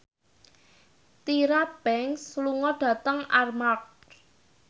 Tyra Banks lunga dhateng Armargh